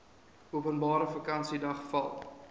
openbare vakansiedag val